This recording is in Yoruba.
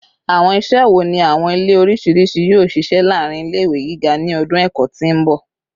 Awọn iṣẹ wo ni awọn ile oriṣiriṣi yoo ṣiṣẹ laarin ile-iwe giga ni ọdun ẹkọ ti n bọ?